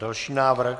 Další návrh.